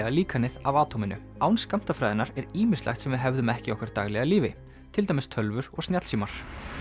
líkanið af atóminu án skammtafræðinnar er ýmislegt sem við hefðum ekki í okkar daglega lífi til dæmis tölvur og snjallsímar